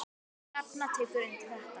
Hrefna tekur undir þetta.